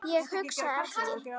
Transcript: Ég hugsa ekki.